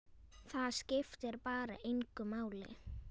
Það skiptir bara engu máli.